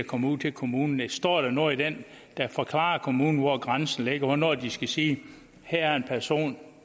kommer ud til kommunen står der noget i den der forklarer kommunen hvor grænsen ligger hvornår de skal sige her er en person